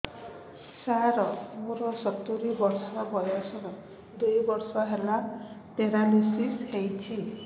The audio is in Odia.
ସାର ମୋର ସତୂରୀ ବର୍ଷ ବୟସ ଦୁଇ ବର୍ଷ ହେଲା ପେରାଲିଶିଶ ହେଇଚି